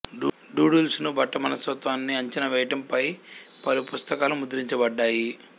doodles ను బట్ట మనస్తత్వాన్ని అంచనా వేయటం పై పలు పుస్తకాలు ముద్రించబడ్డాయి